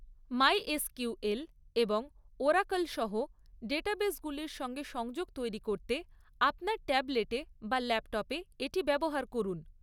MySQL এবং Oracle সহ ডেটাবেসগুলির সঙ্গে সংযোগ তৈরি করতে আপনার ট্যাবলেটে বা ল্যাপটপে এটি ব্যবহার করুন।